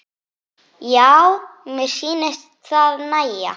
Já, mér sýnist það nægja!